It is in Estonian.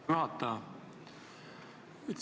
Aitäh, juhataja!